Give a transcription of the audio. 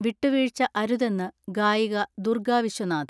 വിട്ടുവീഴ്ച അരുതെന്ന് ഗായിക ദുർഗ വിശ്വനാഥ്.